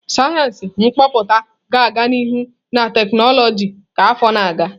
Sayensị Kọmputa ga-aga n'ihu na tekinọloji ka afọ na-aga.